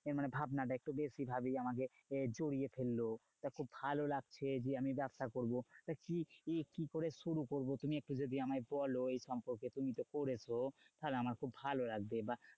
এ মানে ভাবনা টা একটু বেশি ভাবেই আমাকে জড়িয়ে ধরলো । তা খুব লাগছে যে, আমি ব্যাবসা করবো। তা কি কি করে শুরু করবো? তুমি একটু যদি আমায় বোলো এই সম্পর্কে তুমি তো করেছো তাহলে আমার খুব ভালো লাগবে বা